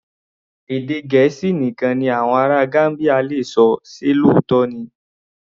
Èdè Gẹ̀ẹ́sì nìkan ni àwọn ará Gambia le ṣọ, ṣe òtítọ́ ni?